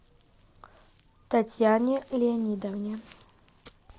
татьяне леонидовне